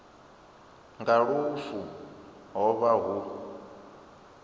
nga lufu ho vha hu